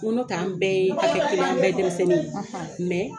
n ko ne fɛ an bɛɛ ye bɛɛ denmisɛnnin ye